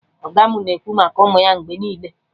Ọga mụ na-ekwu maka ụmụ ya mgbe ọbụla